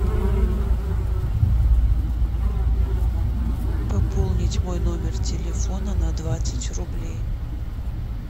пополнить мой номер телефона на двадцать рублей